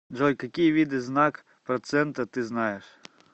джой какие виды знак процента ты знаешь